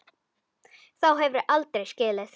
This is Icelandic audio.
Þá hefur þú aldrei skilið.